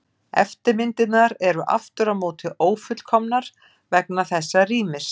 Eftirmyndirnar eru aftur á móti ófullkomnar vegna þessa rýmis.